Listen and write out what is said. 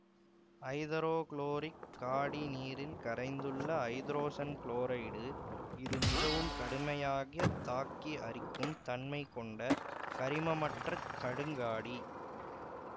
ஐதரோகுளோரிக் காடி நீரில் கரைந்துள்ள ஐதரோசன் குளோரைடு இது மிகவும் கடுமையாக தாக்கி அரிக்கும் தன்மை கொண்ட கரிமமற்றக் கடுங்காடி